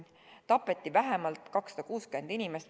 Tapeti vähemalt 260 inimest.